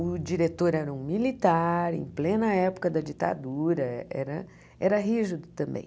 O diretor era um militar, em plena época da ditadura, era era rígido também.